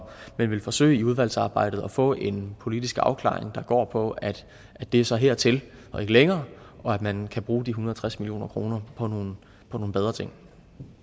vi vil forsøge i udvalgsarbejdet at få en politisk afklaring der går på at det så er hertil og ikke længere og at man kan bruge de en hundrede og tres million kroner på nogle på nogle bedre ting